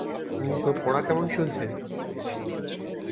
Mini তোর পড়া কেমন চলছে?